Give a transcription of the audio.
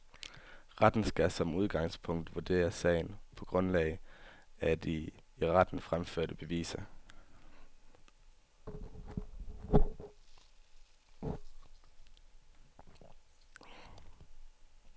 Retten skal som udgangspunkt vurdere sagen på grundlag af de i retten fremførte beviser.